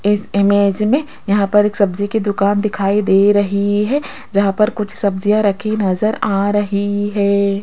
इस इमेज में यहां पर एक सब्जी की दुकान दिखाई दे रही है जहां पर कुछ सब्जियां रखी नजर आ रही है।